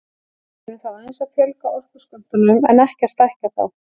Við erum þá aðeins að fjölga orkuskömmtunum en ekki að stækka þá.